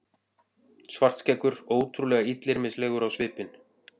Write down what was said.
Svartskeggur ótrúlega illyrmislegur á svipinn.